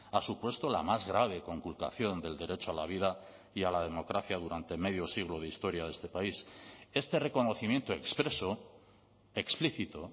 ha supuesto la más grave conculcación del derecho a la vida y a la democracia durante medio siglo de historia de este país este reconocimiento expreso explícito